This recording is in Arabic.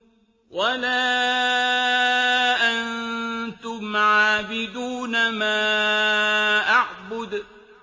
وَلَا أَنتُمْ عَابِدُونَ مَا أَعْبُدُ